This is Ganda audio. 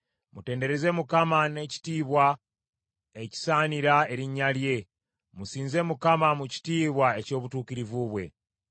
Mutendereze Mukama n’ekitiibwa ekisaanira erinnya lye; musinze Mukama mu kitiibwa eky’obutukuvu bwe.